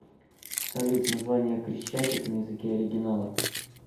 салют название крещатик на языке оригинала